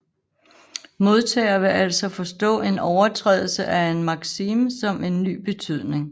Modtager vil altså forstå en overtrædelse af en maksime som en ny betydning